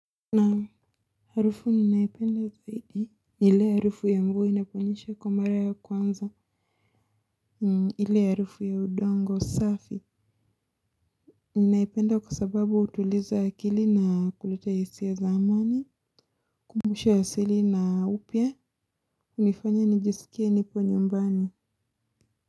Naam harufu ninaipenda zaidi, ni ile harufu ya mvua inaponyesha kwa mara ya kwanza, ile harufu ya udongo safi, ninaipenda kwa sababu hutuliza akili na kuleta hisia za amani, kumbusha asili na upya, hunifanya nijisikie nipo nyumbani.